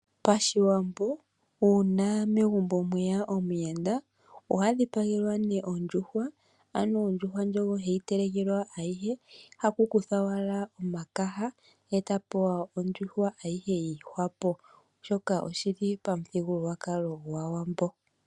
Pashiwambo uuna megumbo mweya omuyenda oha dhipagelwa nee ondjuhwa, ano ondjuhwa ndjono ohe yi telekelwa ayihe hakukuthwa owala omakaha eta pewa ondjuhwa ayihe yii hwapo, oshoka oshili pa muthigululwakalo gwaawambo.